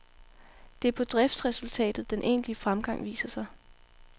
Det er på driftresultatet den egentlige fremgang viser sig.